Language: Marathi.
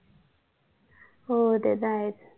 हो ते तर आहेच